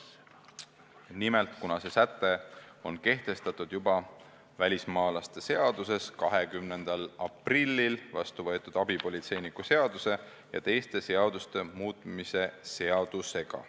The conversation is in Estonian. Nimelt, see säte on juba kehtestatud välismaalaste seaduses 20. aprillil vastu võetud abipolitseiniku seaduse ja teiste seaduste muutmise seadusega.